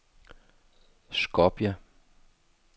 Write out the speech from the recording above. Skopje